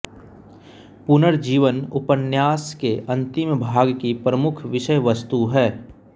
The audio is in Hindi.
पुनर्जीवन उपन्यास के अंतिम भाग की प्रमुख विषयवस्तु है